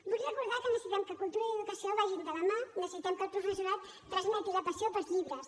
vull recordar que necessitem que cultura i educació vagin de la mà necessitem que el professorat transmeti la passió pels llibres